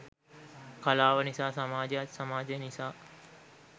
කලාව නිසා සමාජයත් සමාජය නිසා